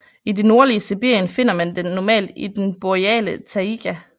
I det nordlige Sibirien finder man den normalt i den boreale taiga